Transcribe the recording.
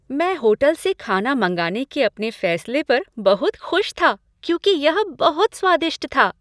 मैं होटल से खाना मंगाने के अपने फैसले पर बहुत खुश था, क्योंकि यह बहुत स्वादिष्ट था।